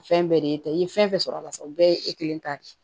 Fɛn bɛɛ de ye e ta ye i ye fɛn fɛn sɔrɔ a la sisan o bɛɛ ye e kelen ta de ye